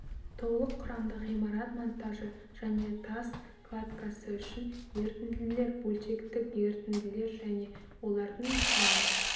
толық құрамды ғимарат монтажы және тас кладкасы үшін ерітінділер бөлшектік ерітінділер және олардың құрамы